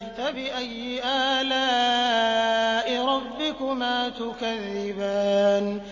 فَبِأَيِّ آلَاءِ رَبِّكُمَا تُكَذِّبَانِ